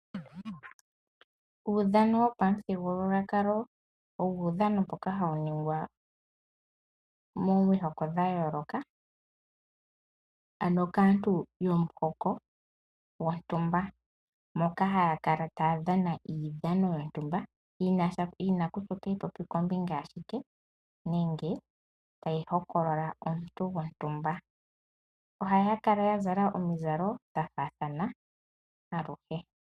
Uudhano wopamuthigululwakalo owo uudhano mboka hawu ningwa komihoko dha yooloka, ano kaantu yomuhoko gontumba, moka haya kala taya dhana iidhano yontumba, yi na kutya otayi popi ngombinga yashike nenge tayi hokolola omuntu gontumba. Ohaya kala ya zala omizalo dha faathana aluhe.